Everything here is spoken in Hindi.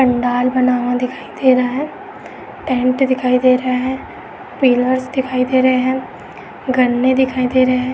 पंडाल बना हुआ दिखाई दे रहा है। टेंट दिखाई दे रहा है। पिलर्स दिखाई दे रहे हैं। गन्ने दिखाई दे रहे हैं।